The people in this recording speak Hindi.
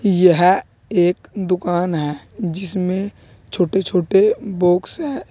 यह एक दुकान है जिसमें छोटे छोटे बॉक्स हैं।